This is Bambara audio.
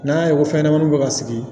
N'an y'a ye ko fɛnɲɛnɛmaninw bɛ ka sigi